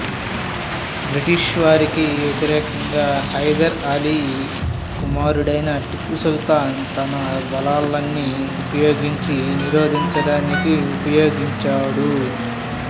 బ్రిటిషువారికి వ్యతిరేకంగా హైదర్ అలీ కుమారుడైన టిప్పూ సుల్తాన్ తన బలాలన్నీ ఉపయోగించి నిరోధించడానికి ఉపయోగించాడు